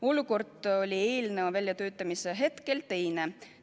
Olukord oli eelnõu väljatöötamise hetkel teine.